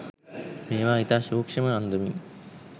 මේවා ඉතා සූක්‍ෂ්ම අන්දමින්